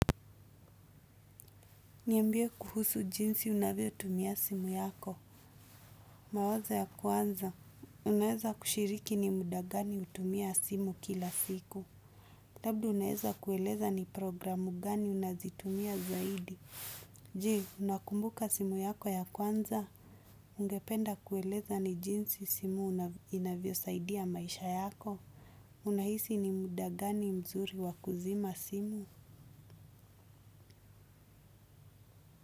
Niambie kuhusu jinsi unavyo tumia simu yako. Mawazo ya kwanza. Unaeza kushiriki ni mudagani hutumia simu kila siku. Labda unaeza kueleza ni programu gani unazitumia zaidi. Je, unakumbuka simu yako ya kwanza. Ungependa kueleza ni jinsi simu inavyo saidia maisha yako. Unahisi ni mdagani mzuri wakuzima simu.